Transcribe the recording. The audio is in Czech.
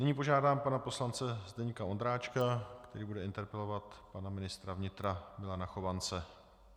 Nyní požádám pana poslance Zdeňka Ondráčka, který bude interpelovat pana ministra vnitra Milana Chovance.